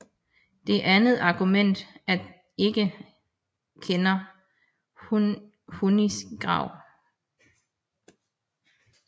Det andet argument er at vi ikke kender Hunis grav